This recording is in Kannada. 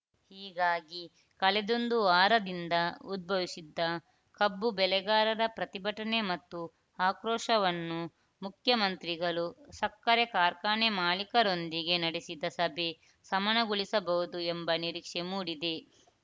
ಹೀಗಾಗಿ ಕಳೆದೊಂದು ವಾರದಿಂದ ಉದ್ಭವಿಸಿದ್ದ ಕಬ್ಬು ಬೆಳೆಗಾರರ ಪ್ರತಿಭಟನೆ ಮತ್ತು ಆಕ್ರೋಶವನ್ನು ಮುಖ್ಯಮಂತ್ರಿಗಳು ಸಕ್ಕರೆ ಕಾರ್ಖಾನೆ ಮಾಲಿಕರೊಂದಿಗೆ ನಡೆಸಿದ ಸಭೆ ಶಮನಗೊಳಿಸಬಹುದು ಎಂಬ ನಿರೀಕ್ಷೆ ಮೂಡಿದೆ